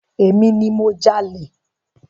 Emi ni mo jalè.